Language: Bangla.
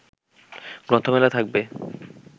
গ্রন্থমেলা থাকবে